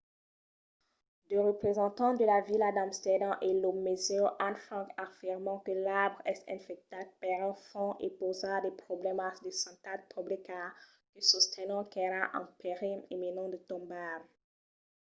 de representants de la vila d'amsterdam e lo musèu anne frank afirman que l'arbre es infectat per un fong e pausa de problèmas de santat publica que sostenon qu'èra en perilh imminent de tombar